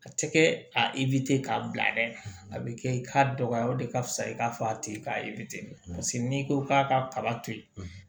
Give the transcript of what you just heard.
A tɛ kɛ a k'a bila dɛ a bɛ kɛ i k'a dɔgɔya o de ka fusa i k'a fɔ a tigi k'a n'i ko k'a ka kaba to yen